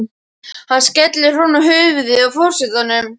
Hann skellir honum á höfuðið á forsetanum.